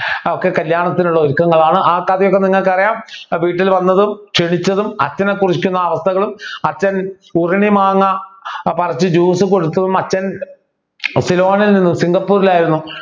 ഒക്കെ കല്യാണത്തിനുള്ള ഒരുക്കങ്ങളാണ് ആ കഥയൊക്കെ നിങ്ങൾക്ക് അറിയാം വീട്ടിൽ വന്നതും ക്ഷണിച്ചതും അച്ഛനെ കുറിക്കുന്ന അവസ്ഥകളും അച്ഛൻ ഉരിണി മാങ്ങ പറിച്ചു Juice കൊടുത്തതും അച്ഛൻ സിലോണിൽ നിന്ന് സിംഗപ്പൂരിൽ ആയിരുന്നു